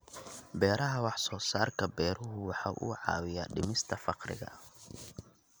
Beeraha Wax-soo-saarka beeruhu waxa uu caawiyaa dhimista faqriga.